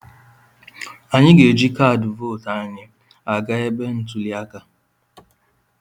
Anyị ga-eji kaadị vootu anyị aga ebe ntuli aka.